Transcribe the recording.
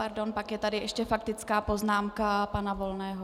Pardon, pak je tady ještě faktická poznámka pana Volného.